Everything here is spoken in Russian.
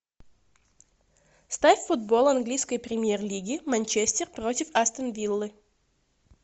ставь футбол английской премьер лиги манчестер против астон виллы